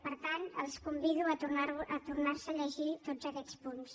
per tant els convido a tornar se a llegir tots aquests punts